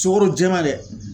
Sukaro jɛman dɛ.